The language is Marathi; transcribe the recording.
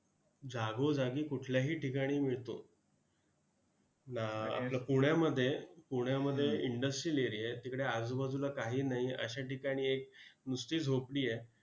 जागोजागी कुठल्याही ठिकाणी मिळतो! अं आपलं पुण्यामध्ये, पुण्यामध्ये industrial area आहे, तिकडे आजूबाजूला काही नाही! अशा ठिकाणी एक नुसती झोपडी आहे.